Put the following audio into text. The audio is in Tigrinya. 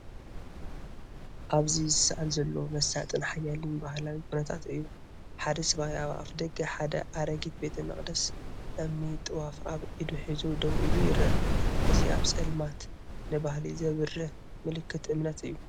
ኣብዚ ዝስኣል ዘሎ መሳጥን ሓያልን ባህላዊ ኵነታት እዩ። ሓደ ሰብኣይ ኣብ ኣፍደገ ሓደ ኣረጊት ቤተ መቕደስ እምኒ፡ ጥዋፍ ኣብ ኢዱ ሒዙ ደው ኢሉ ይርአ። እዚ ኣብ ጸልማት ንባህሊ ዘብርህ ምልክት እምነት እዩ።